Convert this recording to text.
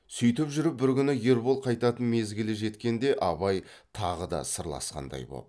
сүйтіп жүріп бір күні ербол қайтатын мезгілі жеткенде абай тағы да сырласқандай боп